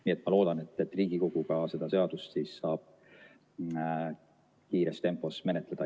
Nii et ma loodan, et Riigikogu saab seda seadust siis ka kiires tempos menetleda.